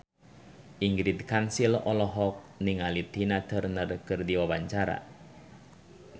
Ingrid Kansil olohok ningali Tina Turner keur diwawancara